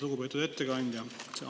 Lugupeetud ettekandja!